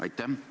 Aitäh!